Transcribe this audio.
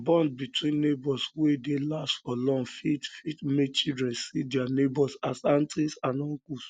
bond between neighbours wey dey last for long fit fit make children see um their neighbours as aunties and uncles